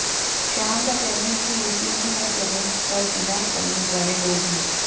श्याम का कहना है कि यूपी में हर जगह पर बिना तमीज वाले लोग है